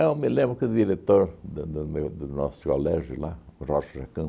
me lembro que o diretor da do meu do nosso colégio lá, Rocha